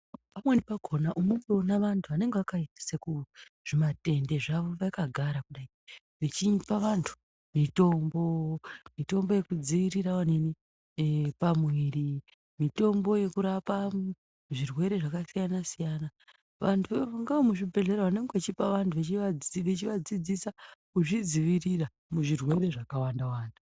Pamweni pakhona unotoona vanthu vanenge vakaisa zvimatende zvavo vakagara kudai, vachipa vanthu mitombo, mitombo yekudziirira pamuiri, mitombo yekurapa zvirwere zvakasiyana-siyana, vanthu ngeve muzvibhedhlera vanenge vechipa mutombo. Vanthu vachivafundisa kuzvidziirira muzvirwere zvakawanda-wanda.